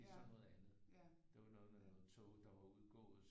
Det er så noget andet det var noget med noget tog der var udgået